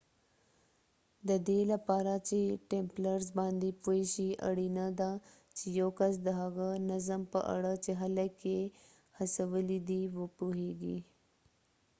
ددې لپاره چې ټمپلرز باندې پوه شي اړینه ده چې یو کس د هغه نظم په اړه چې خلک یې هڅولی دي وپوهېږي